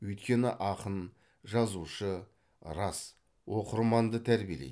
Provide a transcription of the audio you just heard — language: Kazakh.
өйткені ақын жазушы рас оқырманды тәрбиелейді